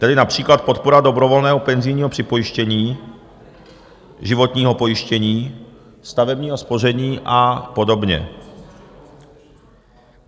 Tedy například podpora dobrovolného penzijního připojištění, životního pojištění, stavebního spoření a podobně.